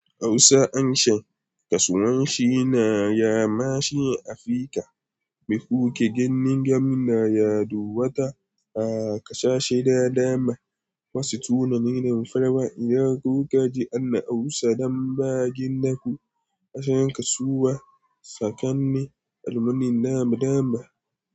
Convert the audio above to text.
Hausa, harshen kasuwanci na ya mashi Afirka. Mai kuke gani? Gamna yaɗu wata a kasashe da dama. Wasu tunanin farawa idan kuka je ana Hausa dan ba na jin naku a can kasuwa. Sakanni almunin dama dama.